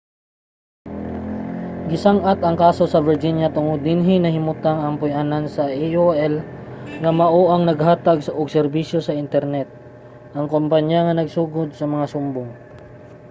gisang-at ang kaso sa virginia tungod kay dinhi nahimutang ang puy-anan sa aol nga mao ang naghatag og serbisyo sa internet ang kumpanya nga nagsugod sa mga sumbong